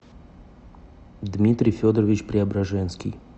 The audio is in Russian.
дмитрий федорович преображенский